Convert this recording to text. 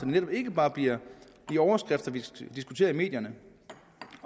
netop ikke bare bliver de overskrifter vi diskuterer i medierne